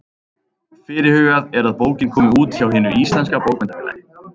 Fyrirhugað er að bókin komi út hjá Hinu íslenska bókmenntafélagi.